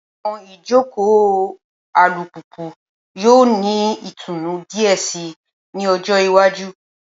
Awọn ijoko alupupu yoo ni itunu diẹ sii ni ọjọ iwaju